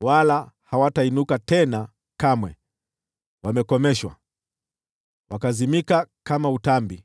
wala hawatainuka tena kamwe, wakakomeshwa, na wakazimika kama utambi: